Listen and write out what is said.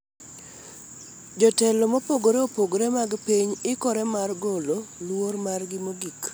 Jotelo mopogore opogore mag piny ikore mar golo luor margi mogik